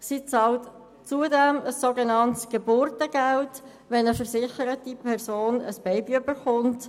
Sie zahlt zudem ein sogenanntes Geburtengeld, wenn eine versicherte Person ein Baby bekommt.